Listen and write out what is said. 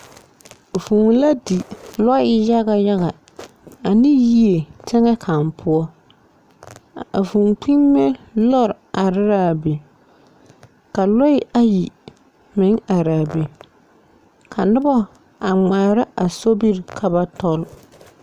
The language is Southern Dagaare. Vũũ la di lɔɛ yaga yaga ane yie teŋɛ kaŋ poɔ. A a vũũ kpinne lɔɔre are la a be, ka lɔɛ ayi meŋ are a be. Ka noba a ŋmaara a sobiri ka ba tɔle.